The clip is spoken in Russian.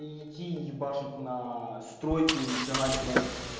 и идти и ебашить на стройку и тягать блять